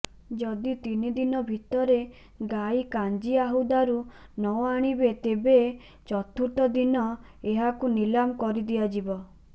ଯଦି ତିନି ଦିନ ଭିତରେ ଗାଈ କାଞ୍ଜିଆହୁଦାରୁ ନଆଣିବେ ତେେବ ଚତୁର୍ଥ ଦିନ ଏହାକୁ ନିଲାମ କରିଦିଆଯିବ